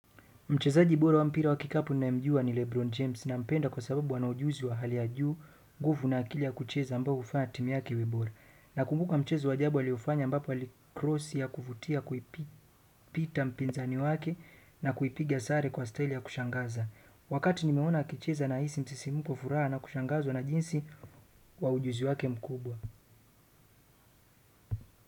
Mchezaji bora wa mpira wa kikapu ninayemjua ni Lebron James nampenda kwa sababu ana ujuzi wa hali ya juu nguvu na akili ya kucheza ambayo hufanya timu yake iwe bora. Nakumbuka mchezo wa ajabu alioufanya ambapo alikrosi ya kuvutia kuipita mpinzani wake na kuipigia sare kwa style ya kushangaza. Wakati nimeona akicheza nahisi msisimko furaha na kushangazwa na jinsi wa ujuzi wake mkubwa.